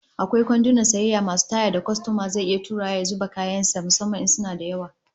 Akwai kwandunan sayayya masu taya da kwastoma zai iya turawa yana zuba kayan sa musamman in suna da yawa